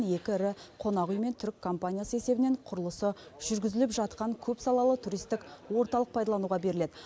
екі ірі қонақүй мен түрік компаниясы есебінен құрылысы жүргізіліп жатқан көпсалалы туристік орталық пайдалануға беріледі